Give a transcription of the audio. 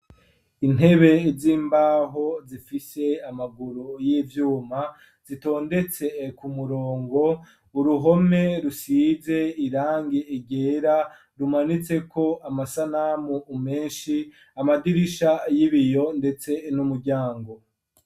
Intebe z'imbaho zifise amaguru y'ivyuma, zitondetse ku murongo, uruhome rusize irangi ryera rumanitseko amasanamu menshi, amadirisha y'ibiyo ndetse n'umuryango.